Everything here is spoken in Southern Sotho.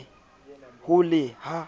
ho le ha e le